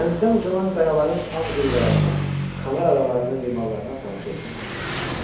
Dənizdən ucalan qayaların ağ zirvələrinə, Kanar adalarının limanlarına tamaşa etmək istəyirdi.